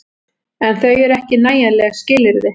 En þau eru ekki nægjanleg skilyrði.